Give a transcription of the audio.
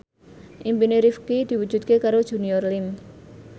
impine Rifqi diwujudke karo Junior Liem